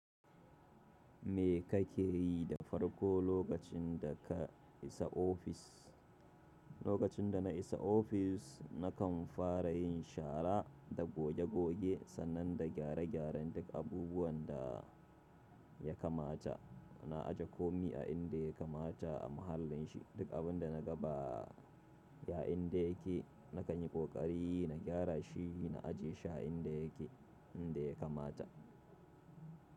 Me ka ke yi da farko lokacin da ka isa ofis? Lokacin da na isa ofis, na kan fara yin shara da goge-goge sannan na gyare-gyaren duk abubuwan da ya kamata. Na aje komi a inda ya kamata a mahallin shi. Duk abin da na ga ba a inda yake, na kanyi ƙoƙari na gyara shi na ajiye shi a inda yake, inda ya kamata.